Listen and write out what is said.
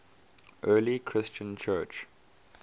early christian church